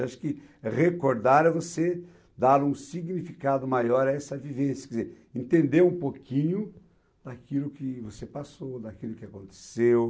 Eu acho que recordar é você dar um significado maior a essa vivência, quer dizer, entender um pouquinho daquilo que você passou, daquilo que aconteceu.